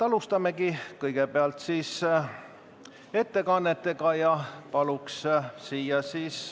Alustamegi siis ettekannetega.